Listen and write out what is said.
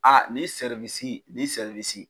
A nin ni